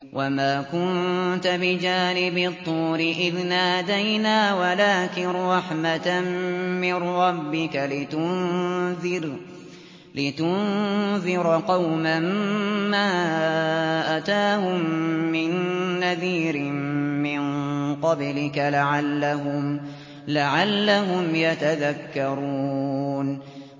وَمَا كُنتَ بِجَانِبِ الطُّورِ إِذْ نَادَيْنَا وَلَٰكِن رَّحْمَةً مِّن رَّبِّكَ لِتُنذِرَ قَوْمًا مَّا أَتَاهُم مِّن نَّذِيرٍ مِّن قَبْلِكَ لَعَلَّهُمْ يَتَذَكَّرُونَ